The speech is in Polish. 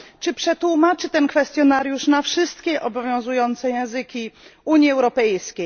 Czy przetłumaczy ten kwestionariusz na wszystkie obowiązujące języki Unii Europejskiej?